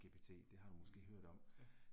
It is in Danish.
Mh, ja